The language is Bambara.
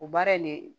O baara in ne